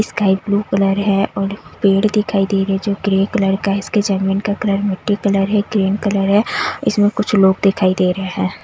Sky blue colour है और पेड़ दिखाई दे रहे है जो ग्रे कलर का है इसके जर्मन का कलर मिट्टी कलर है ग्रीन कलर है इसमें कुछ लोग दिखाई दे रहे हैं।